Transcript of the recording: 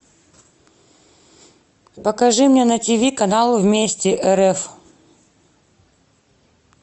покажи мне на тиви канал вместе рф